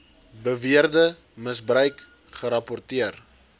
beweerde misbruik gerapporteer